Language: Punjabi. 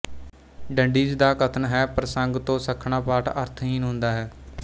ਡੰਡੀਜ਼ ਦਾ ਕਥਨ ਹੈਪ੍ਰਸੰਗ ਤੋਂ ਸੱਖਣਾ ਪਾਠ ਅਰਥਹੀਣ ਹੁੰਦਾ ਹੈ